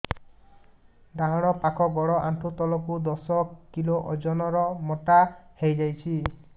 ଡାହାଣ ପାଖ ଗୋଡ଼ ଆଣ୍ଠୁ ତଳକୁ ଦଶ କିଲ ଓଜନ ର ମୋଟା ହେଇଯାଇଛି